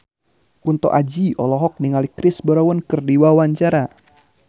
Kunto Aji olohok ningali Chris Brown keur diwawancara